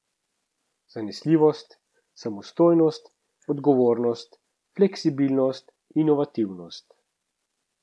Zanesljivost, samostojnost, odgovornost, fleksibilnost, inovativnost.